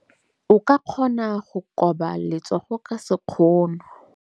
O ka kgona go koba letsogo ka sekgono.